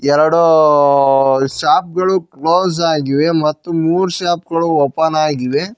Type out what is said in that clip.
ಎರಡೂ ಶಾಪ್ ಗಳು ಕ್ಲೋಸ್ ಆಗಿವೆ ಮತ್ತು ಮೂರ್ ಶಾಪ್ ಗಳು ಓಪನ್ ಆಗಿವೆ.